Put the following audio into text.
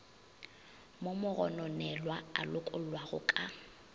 mo mogononelwa a lokollwago ka